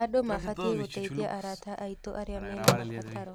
Andũ mabatiĩ gũteithia arata aitũ arĩa mana mabataro.